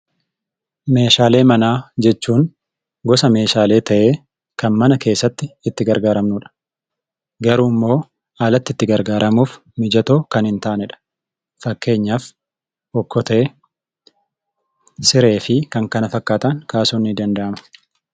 Meeshaalee manaa jechuun gosa meeshaalee ta'ee, kan mana keessatti itti gargaaramnudha. Garuu immoo alatti itti gargaaramuuf mijatoo kan hin taanedha. Fakkeenyaaf okkotee, siree fi kan kana fakkaatan kaasuun ni danda'ama.